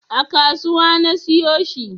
A kasuwa na siyo shi